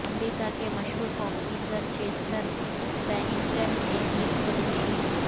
امریکہ کے مشہور pop singer Chester Bennington نے کی خودکشی